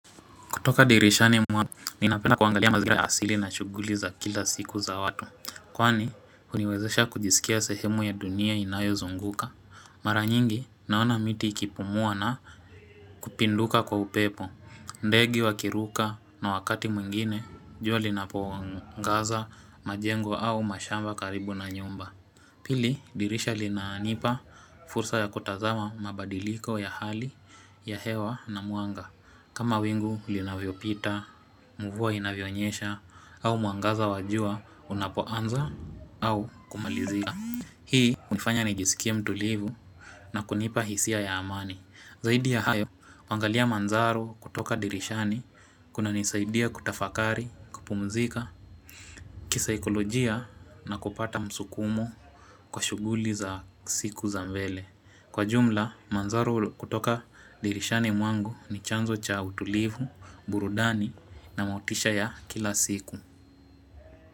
Kutoka dirishani mwanga, ninapenda kuangalia mazingira asili na shuguli za kila siku za watu. Kwani, huniwezesha kujisikia sehemu ya dunia inayo zunguka. Mara nyingi, naona miti ikipumua na kupinduka kwa upepo. Ndege wakiruka na wakati mwingine, jua linapoangaza, majengo au mashamba karibu na nyumba. Pili, dirisha linaa nipa fursa ya kutazawa mabadiliko ya hali ya hewa na mwanga. Kama wingu linavyo pita, mvua inavyo nyesha, au mwangaza wajua unapoanza au kumalizika Hii hunifanya nijisikie mtulivu na kunipa hisia ya amani Zaidi ya hayo, kuangalia manzaro kutoka dirishani kuna nisaidia kutafakari, kupumzika, kisaikolojia na kupata msukumo kwa shuguli za siku za mbele Kwa jumla manzaru kutoka dirishani mwangu ni chanzo cha utulivu, burudani na mautisha ya kila siku.